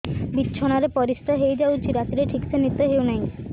ବିଛଣା ରେ ପରିଶ୍ରା ହେଇ ଯାଉଛି ରାତିରେ ଠିକ ସେ ନିଦ ହେଉନାହିଁ